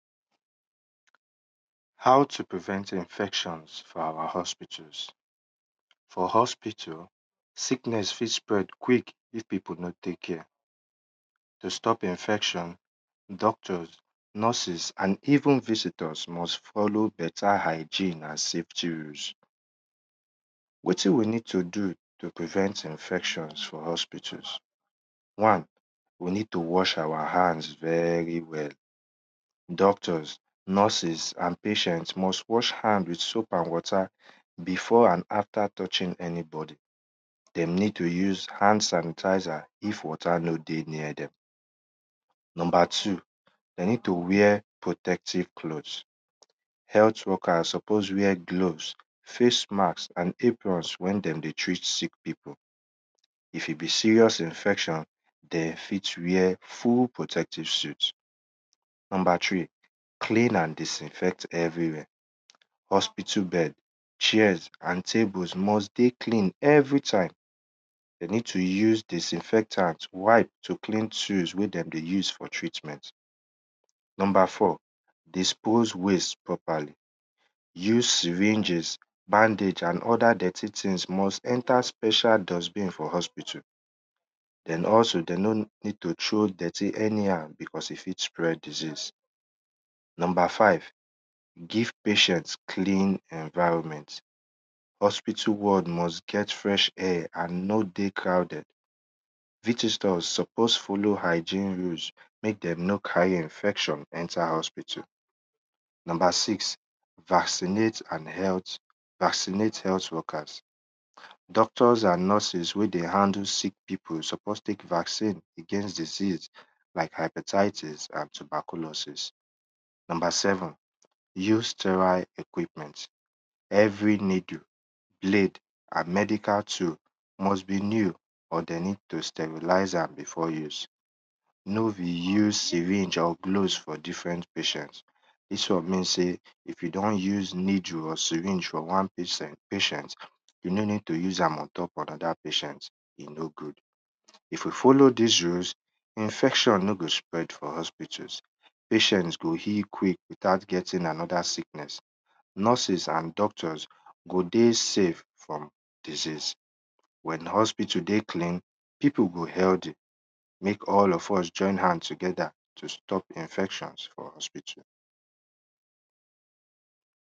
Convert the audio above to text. How to prevent infections for our hospitals. For hospital, sickeness fit spread quick if pipu nor tek care, to stp infection, doctors, nurses and even vistors must follow beta hygene and safty. Wtin we need to do to prevent infection for hospitals? One we ned to wash out hand very well, doctors nurses and patient must wash hand with soap and water before and after touching anybody, de need to use hand sanitizer if water no dey ner dem. Number to, de need to waer protective cloth, health worket suppose wear gloves, face mask wen de dey treat sick pipu. If e be serious infection, den fit war full protective suit. Number three, clean and disinfect everywhere. Hospital bed, chairs, and tables must dey clean everytime, den need to use disinfectant to clean tools wen dem dey use for treatment. Number four, dispose waste properly. Use syrngs, bandages and other dirty things must enter special dustbin for hspotal, den also den mno need to throw dirty anyhow because e fit spread disease. Number five, give patient clean environment, hospital ward must get fresh and nor dey crowded, visitor suppose follow hygene rules mek dem no carry infection enter hospital. Number six vaccinat health workers. Doctors and nurses wey dey help sick pipu suppose tek vaccine against diseas like appetietis and tuberculosis. Number seven, ue steroid equipment. Every needle, blade and medical tool must be sterilized before use, no be new syring or cloth for different patient, dis won mean nsey if you don use needle or syring for wan patient, yu no ned to use am ontopanoda patient, e no good. If you follow dis rules, infection no go spread for hospitals, patients go healk quick without getting anoda sickness, nurses and doctors go dey save from disease. Wen hospital dey clean, pipu go healthy mek all of use join hand together to stop infections for hospital.